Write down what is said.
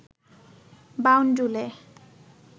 বাউন্ডুলে